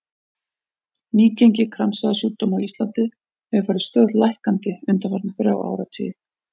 Nýgengi kransæðasjúkdóma á Íslandi hefur farið stöðugt lækkandi undanfarna þrjá áratugi.